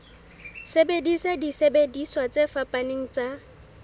sebedisa disebediswa tse fapaneng tsa